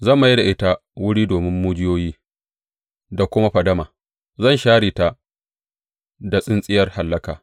Zan mai da ita wuri domin mujiyoyi da kuma fadama; zan share ta da tsintsiyar hallaka,